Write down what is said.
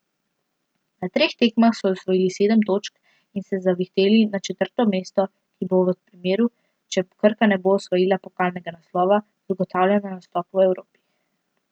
Na treh tekmah so osvojili sedem točk in se zavihteli na četrto mesto, ki bo v primeru, če Krka ne bo osvojila pokalnega naslova, zagotavljalo nastop v Evropi.